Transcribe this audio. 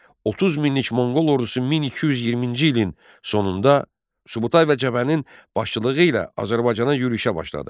30 minlik Monqol ordusu 1220-ci ilin sonunda Subutay və Cəbənin başçılığı ilə Azərbaycana yürüşə başladı.